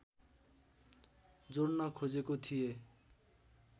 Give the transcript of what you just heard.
जोड्न खोजेको थिएँ